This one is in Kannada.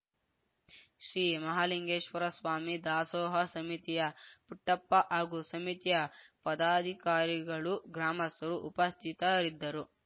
ಶ್ರೀ ಮಹಾಲಿಂಗೇಶ್ವರ ಸ್ವಾಮಿ ದಾಸೋಹ ಸಮಿತಿಯ ಪುಟ್ಟಪ್ಪ ಹಾಗೂ ಸಮಿತಿಯ ಪದಾಧಿಕಾರಿಗಳು ಗ್ರಾಮಸ್ಥರು ಉಪಸ್ಥಿತರಿದ್ದರು